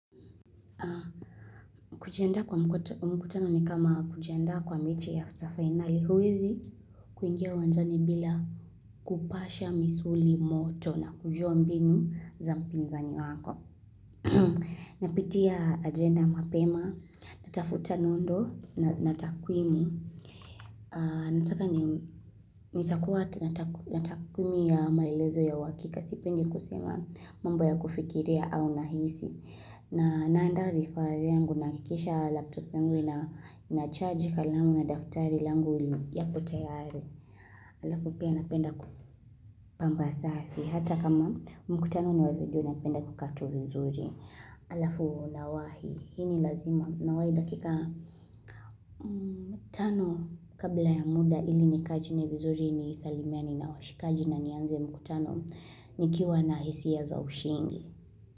Kujiendaa kwa mkutano ni kama kujienda kwa michi ya sa finali huwizi kuingia uwanjani bila kupasha misuli moto na kujua mbinu za mpinzani wako. Napitia agenda mapema, natafuta nondo, na takwimi, nitakuwa na takwimi ya maelezo ya uhakika, sipendi kusema mambo ya kufikiria au nahisi. Na, naandaa vifaa vyangu nahakikisha laptop yangu ina, inacharge kalamu, na daftari yangu yako tayari Alafu pia napenda kupamba safi, hata kama mkutano ni wavideo napenda kukaa tu vizuri Alafu nawahi, hii ni lazima. Nawahi dakika, tano kabla ya muda ili nikae chini vizuri ni salimiane na washikaji na nianze mkutano Nikiwa na hisia za ushindi.